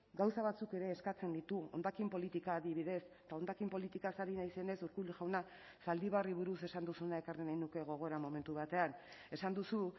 gauza batzuk ere eskatzen ditu hondakin politika adibidez eta hondakin politikaz ari naizenez urkullu jauna zaldibarri buruz esan duzuna ekarri nahi nuke gogora momentu batean esan duzu